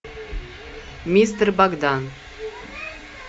мистер богдан